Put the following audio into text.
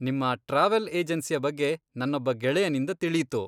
ನಿಮ್ಮ ಟ್ರಾವೆಲ್ ಏಜೆನ್ಸಿಯ ಬಗ್ಗೆ ನನ್ನೊಬ್ಬ ಗೆಳೆಯನಿಂದ ತಿಳೀತು.